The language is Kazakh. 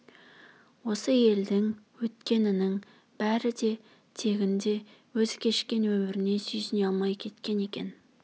осы елдің өткенінің бәрі де тегінде өзі кешкен өміріне сүйсіне алмай кеткен екен